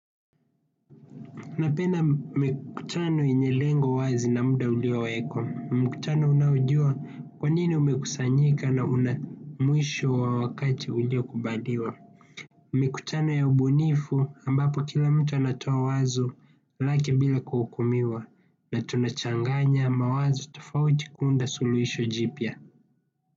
Napenda mikutano yenye lengo wazi na muda uliowekwa. Mkutano unaojua kwanini umekusanyika na una mwisho wa wakati ulio kubaliwa. Mikutano ya ubunifu ambapo kila mtu anatoa wazo lake bila kuhukumiwa na tunachanganya mawazo tofauti kuunda suluhisho jipya.